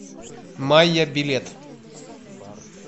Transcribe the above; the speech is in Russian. майя билет